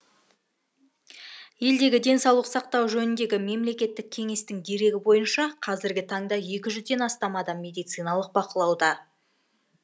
елдегі денсаулық сақтау жөніндегі мемлекеттік кеңестің дерегі бойынша қазіргі таңда екі жүзден астам адам медициналық бақылауда